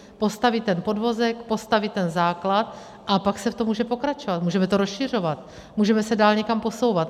Postavit ten podvozek, postavit ten základ, a pak se v tom může pokračovat, můžeme to rozšiřovat, můžeme se dál někam posouvat.